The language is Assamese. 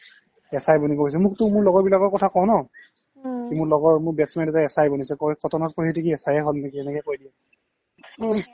SI বনি গৈছে মোকটো মোৰ লগৰবিলাকৰ কথা কও ন উম্ মোৰ লগৰ মোৰ batchmate এটাই SI বনিছে কই কটনত পঢ়ি উঠি কি SIয়ে হয় নেকি এনেকৈ কৈ দিয়ে